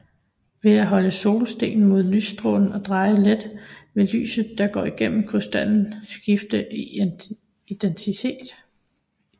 Ved at holde solstenen mod lystrålen og dreje let vil lyset der går igennem krystallen skifte i intensitet